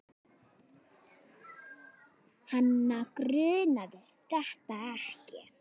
Hana grunaði þetta ekki.